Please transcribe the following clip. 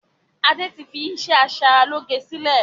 Adé tí fi iṣẹ́ asaralóge sílẹ̀